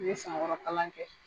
K'u ye san wɔɔrɔ kalan kɛ.